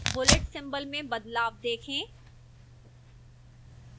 bullet symbols में बदलाव देखें